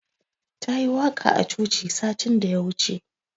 Ta yi waƙa a coci satin da ya wuce.